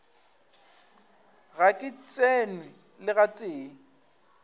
ga ke tsenwe le gatee